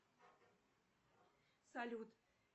салют